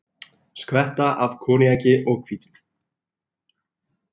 Skvetta af koníaki og hvítvíni